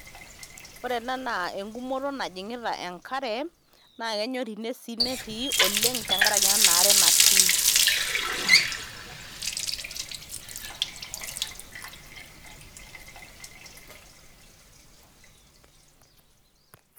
Ore ena naa egumoto najing'ita Enk'are naa kenyori sii ine netii oleng' tenkaraki ena aare natii.